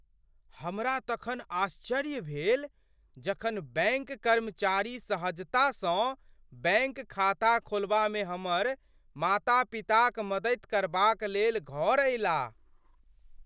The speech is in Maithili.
हमरा तखन आश्चर्य भेल जखन बैंक कर्मचारी सहजतासँ बैंक खाता खोलबामे हमर माता पिताक मदति करबाक लेल घर अयलाह।